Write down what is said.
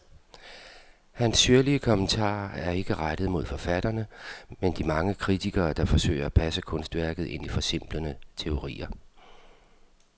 Hans syrlige kommentarer er ikke rettet mod forfatterne, men de mange kritikere, der forsøger at passe kunstværket ind i forsimplende teorier.